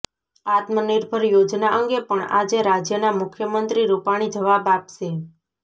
આત્મનિર્ભર યોજના અંગે પણ આજે રાજ્યના મુખ્યમંત્રી રૂપાણી જવાબ આપશે